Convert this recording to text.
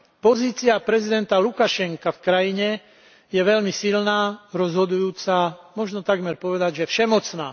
Pozícia prezidenta Lukašenka v krajine je veľmi silná, rozhodujúca, možno takmer povedať, že všemocná.